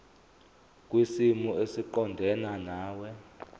kwisimo esiqondena nawe